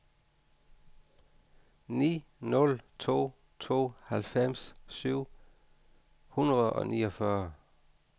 ni nul to to halvfems syv hundrede og niogfyrre